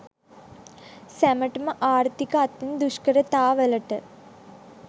සැමටම ආර්ථික අතින් දුෂ්කරතාවලට